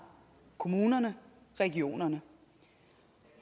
kommunerne regionerne